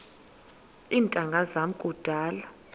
iintanga zam kudala